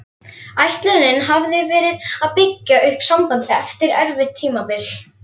Ætlunin hafði verið að byggja upp sambandið eftir erfitt tímabil.